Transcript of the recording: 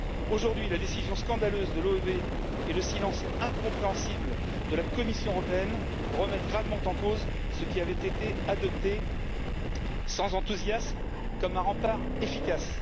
Aujourd'hui, la décision scandaleuse de l'OEB et le silence incompréhensible de la Commission européenne remettent gravement en cause ce qui avait été adopté, sans enthousiasme, comme un rempart efficace.